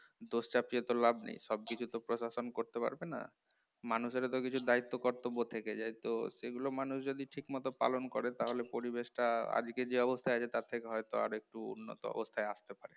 দোষ চাপিয়ে তো লাভ নেই, সবকিছু তো প্রশাসন করতে পারবে না মানুষের তো কিছু দায়িত্ব কর্তব্য থেকে যায় তো সেগুলো মানুষ যদি ঠিকমতো পালন করে তাহলে পরিবেশটা আজকে যে অবস্থায় আছে তার থেকে হয়তো একটু উন্নত অবস্থায় আসতে পারে